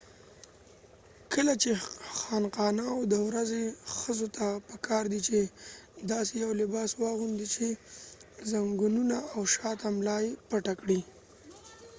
کله چې خانقاوو ته ورځئ ښخو ته پکار دي چې داسې یو لباس واغوندي چې ځنګنونه او شاته ملا یې پټې کړي